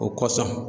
O kosɔn